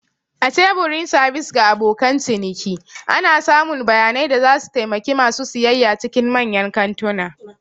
A teburin sabis ga abokan ciniki. ana samun bayanai da zasu taimaki ma su siyayya cikin manyan kantuna